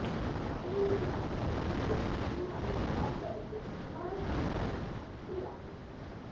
தமயந்தியாக மீண்டும் சினிமாவில் கால் பதிக்கும் குமாரசாமி மனைவி குட்டி ராதிகா